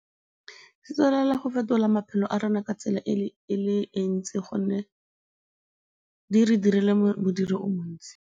Se tswelela go fetola maphelo a rona ka tsela e le e ntsi gonne di re direla modiro o montsi.